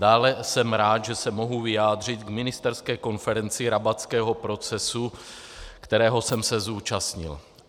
Dále jsem rád, že se mohu vyjádřit k ministerské konferenci Rabatského procesu, které jsem se účastnil.